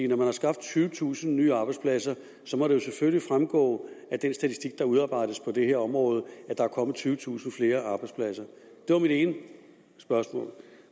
når man har skabt tyvetusind nye arbejdspladser må det jo selvfølgelig fremgå af den statistik der udarbejdes på det her område at der er kommet tyvetusind flere arbejdspladser det var mit ene spørgsmål